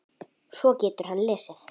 Svo getur hann lesið.